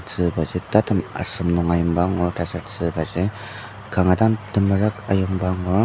tzübaji tatem asem nung ayimba angur taser tzübaji kanga dang temerük ayimba angur.